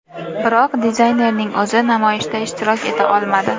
Biroq dizaynerning o‘zi namoyishda ishtirok eta olmadi.